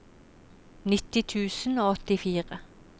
nitti tusen og åttifire